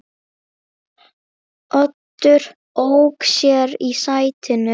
Oddur ók sér í sætinu.